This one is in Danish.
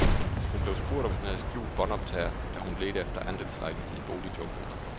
Hun blev spurgt, om hun havde skjult båndoptager, da hun ledte efter andelslejlighed i boligjunglen.